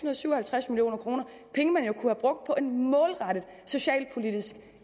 og syv og halvtreds million kroner penge man jo kunne have brugt på en målrettet socialpolitisk